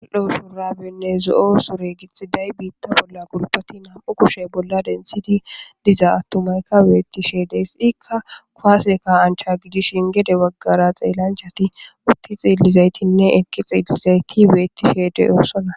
udho shurabenne zo7o sure gixxiday biitta bolla gulpati nam7u kushe bolla densidi diza attumayka weetti sheedes ikka kuaaseka ancha gidishin gede waggara xeellanchati utti xiillizaytinne ekqi xiillizayti weettishee de7ossona